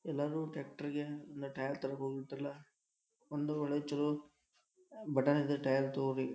ಎಲ್ಲರು ಟ್ಯಾಟ್ರುಗೆ ನ್ದ್ ಟೈರ್ ತರಕ್ ಹೋಗಿರ್ತಾರಲ್ಲ ಒಂದು ಹಳೆ ಚಲೊ ಬಟಾನದ ಟೈರ್ ತೊಗೋಬೆಕ್.